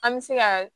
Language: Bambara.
An bɛ se ka